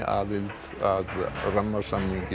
aðild að rammasamning